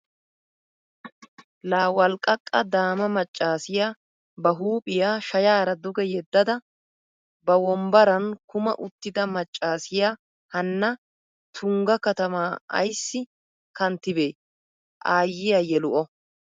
Laa walqqaqa daama maccassiya ba huuphphiya shayaara duge yedada ba wonbbaran kuma uttida maccaassiya hanna Tungga katamaa ayssiya kanttibee? Aayiya yelu O!!